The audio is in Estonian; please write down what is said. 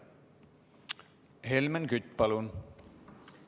Helmen Kütt, palun!